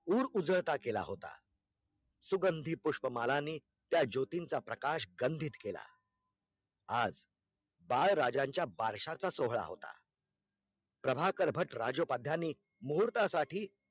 उर उजळता केला होता सुगंधी पुष्प मालानी त्या ज्योतिंचा प्रकाश गंधीत केला आज बाळराजांच्या बारशांचा सोहळ होता प्रभाकर भट राजोपाद्यानी मुहूर्ता साठी